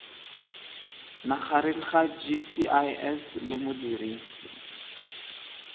magareng ga gcis le modirisi